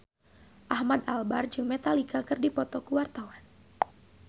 Ahmad Albar jeung Metallica keur dipoto ku wartawan